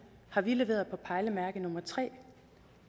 har vi leveret på pejlemærke nummer tre